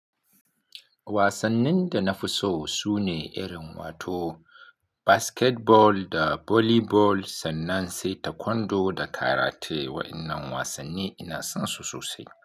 Wasannin da nafi so sune irin wato basketball da volleyball sannan sai taekwondo da karate. Waɗannan wasanni ina son su sosai.